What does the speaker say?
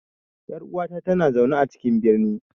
Yar uwata tana zaune a cikin birni.